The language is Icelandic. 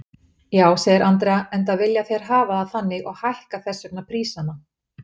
Já, segir Andrea, enda vilja þeir hafa það þannig og hækka þessvegna prísana.